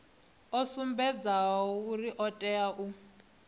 sumbedzaho uri o tea u